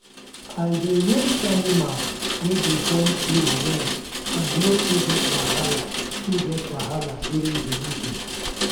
i dey raise animal wey dey born twin well and no too get wahala too get wahala during delivery.